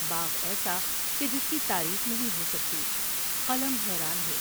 باغ ایسا کہ جس کی تعریف نہیں ہوسکتی قلم حیران ہے ۔